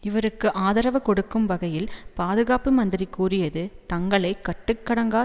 இவருக்கு ஆதரவு கொடுக்கும் வகையில் பாதுகாப்பு மந்திரி கூறியது தங்களை கட்டுக்கடங்கா